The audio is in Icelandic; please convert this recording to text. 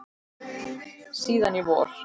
Síðan í vor.